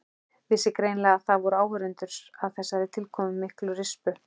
Vissi greinilega að það voru áhorfendur að þessari tilkomumiklu rispu.